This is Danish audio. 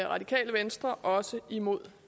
radikale venstre også imod